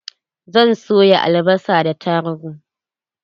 Zan soya albasa da tarugu.